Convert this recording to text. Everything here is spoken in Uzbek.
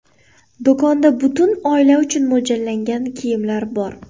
Do‘konda butun oila uchun mo‘ljallangan kiyimlar bor.